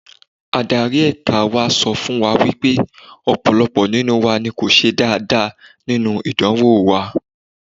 Adarí ẹ̀ka wa sọ fún wa wípé ọ̀pọ̀lọpọ̀ nínú wa ni kò ṣe dáadáa nínú ìdánwò wa.